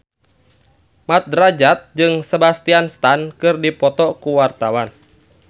Mat Drajat jeung Sebastian Stan keur dipoto ku wartawan